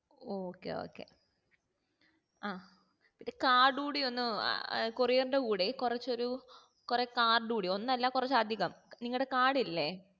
okay okay ആ card കൂടി ഒന്ന് ഏർ courier കൂടെ കുറച്ചൊരു കുറെ card കൂടി ഒന്നല്ല കുറച് അധികം നിങ്ങടെ card ഇല്ലേ